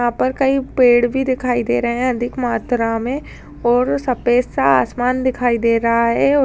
यहाँ पर कई पेड़ भी दिखाई दे रहें हैं अधिक मात्रा में और सफेद सा आसमान दिखाई दे रहा है और --